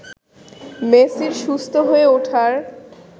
মেসির সুস্থ হয়ে ওঠার